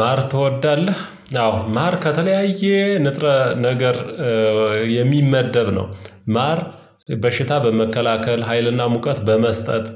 ማር ትወዳለህ? አዎ ማር ከተለያየ ንጥረ ነገር የሚመደብ ነው ማር በሽታ በመከላከል ሀይልና ሙቀት በመስጠት